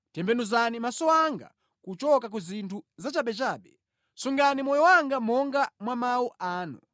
Tembenuzani maso anga kuchoka ku zinthu zachabechabe; sungani moyo wanga monga mwa mawu anu.